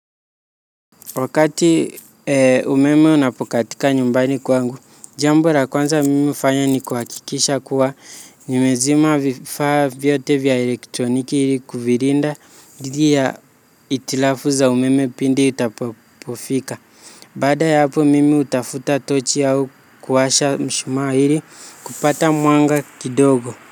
Wakati umeme unapokatika nyumbani kwangu, jambo la kwanza mimi hufanya ni kuhakikisha kuwa nimezima vifaa vyote vya elektroniki ili kuvilinda dhidi ya hitilafu za umeme pindi itapofika. Baada ya hapo mimi hutafuta tochi au kuwasha mshumaa ili kupata mwanga kidogo.